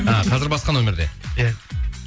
а қазір басқа нөмірде иә